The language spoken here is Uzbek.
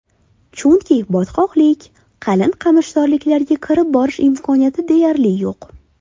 Chunki botqoqlik, qalin qamishzorliklarga kirib borish imkoniyati deyarli yo‘q.